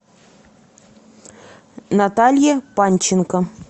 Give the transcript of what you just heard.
наталье панченко